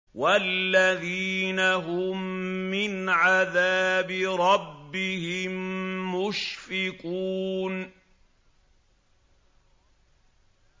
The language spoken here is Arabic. وَالَّذِينَ هُم مِّنْ عَذَابِ رَبِّهِم مُّشْفِقُونَ